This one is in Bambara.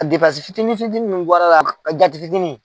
A depansi fitini fitini ninnu bɔra la a jate fitini.